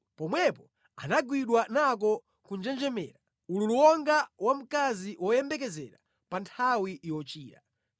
Pomwepo anagwidwa nako kunjenjemera, ululu wonga wa mkazi woyembekezera pa nthawi yochira.